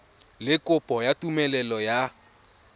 le kopo ya tumelelo ya